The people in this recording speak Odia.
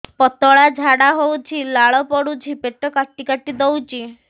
ପତଳା ଝାଡା ହଉଛି ଲାଳ ପଡୁଛି ପେଟ କାଟି କାଟି ଦଉଚି